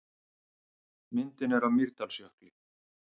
Myndin er af Mýrdalsjökli.